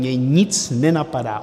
Mě nic nenapadá.